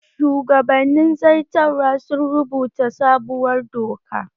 Shugabannin zartarwa sun rubuta sabuwar doka